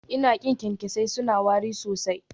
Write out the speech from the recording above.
Ina ƙin kyankyasai, suna wari sosai